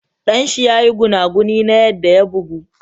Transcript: Dan shi ya yi gunaguni na yadda ya bugu.